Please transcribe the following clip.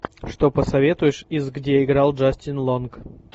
что посоветуешь из где играл джастин лонг